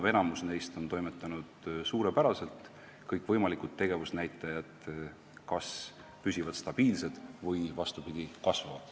Valdav osa neist on toimetanud suurepäraselt, kõikvõimalikud tegevusnäitajad kas püsivad stabiilsed või isegi kasvavad.